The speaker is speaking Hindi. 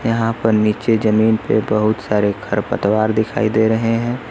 यहां पर नीचे जमीन पे बहुत सारे खरपतवार दिखाई दे रहे हैं।